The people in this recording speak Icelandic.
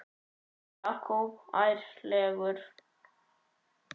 Jakob ærlegur